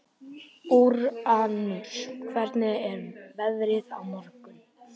Úranus, hvernig er veðrið á morgun?